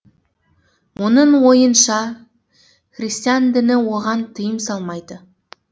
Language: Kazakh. оның ойынша христиан діні оған тыйым салмайды